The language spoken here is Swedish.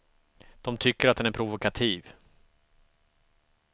De tycker att den är provokativ.